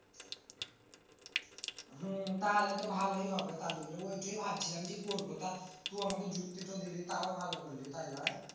হম তাহলে তো ভালই হবে। ওইটাই ভাবছিলাম করবো। তো আমাকে যুক্তিটা দিলি তাও ভালো হল।